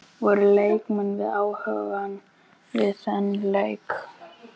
Voru leikmenn við hugann við þann leik?